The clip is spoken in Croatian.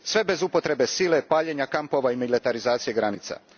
Sve bez upotrebe sile, paljenja kampova i militarizacije granica.